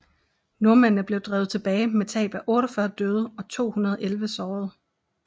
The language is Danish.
Nordmændene blev drevet tilbage med tab af 48 døde og 211 sårede